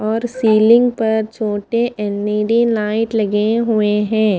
और सीलिंग पर छोटे एल_ई_डी लाईट लगे है।